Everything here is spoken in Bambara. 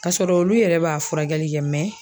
K'a sɔrɔ olu yɛrɛ b'a furakɛli kɛ